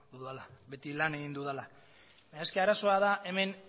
dudala beti lan egin dudala baina arazoa da hemen